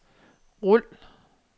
rul